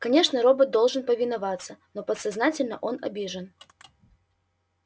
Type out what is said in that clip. конечно робот должен повиноваться но подсознательно он обижен